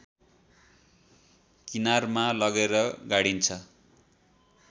किनारमा लगेर गाडिन्छ